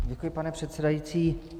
Děkuji, pane předsedající.